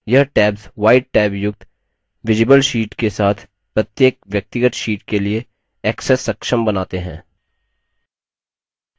यह tabs white tab युक्त visible sheet के साथ प्रत्येक व्यक्तिगत sheet के लिए access सक्षम बनाते हैं